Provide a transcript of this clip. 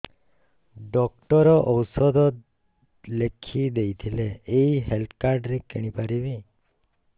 doctor ଔଷଧ ଲେଖିଦେଇଥିଲେ ଏଇ ହେଲ୍ଥ କାର୍ଡ ରେ କିଣିପାରିବି